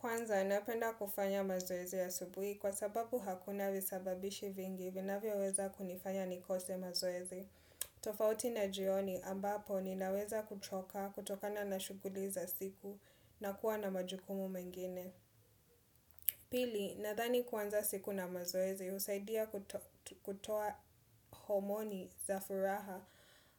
Kwanza, napenda kufanya mazoezi asubuhi kwa sababu hakuna visababishi vingi vina vyo weza kunifanya nikose mazoezi. Tofauti na jioni ambapo ni naweza kuchoka kutokana na shughuli za siku na kuwa na majukumu mengine. Pili, nadhani kuanza siku na mazoezi usaidia kutoa homoni za furaha